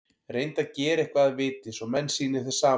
Reyndu að gera eitthvað að viti, svo menn sýni þér samúð.